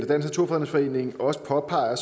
naturfredningsforening også påpeger